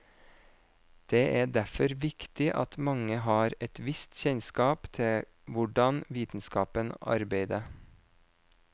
Det er derfor viktig at mange har et visst kjennskap til hvordan vitenskapen arbeide.